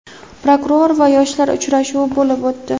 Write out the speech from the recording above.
Prokuror va yoshlar uchrashuvi bo‘lib o‘tdi.